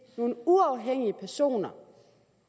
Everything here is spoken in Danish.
nogle uafhængige personer